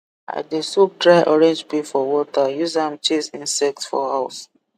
i dey soak dry orange peel for water use am chase insect for house